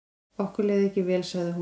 Okkur leið ekki vel sagði hún.